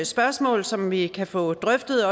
spørgsmål som vi også kan få drøftet